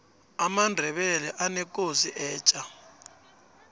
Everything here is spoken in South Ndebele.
amandebele anekosi etja